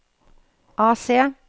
AC